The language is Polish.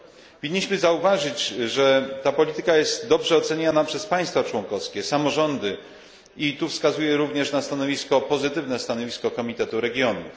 Powinniśmy zauważyć, że ta polityka jest dobrze oceniana przez państwa członkowskie, samorządy i tu wskazuję również na pozytywne stanowisko Komitetu Regionów.